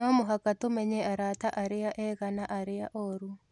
No mũhaka tũmenye arata arĩa ega na arĩa oru.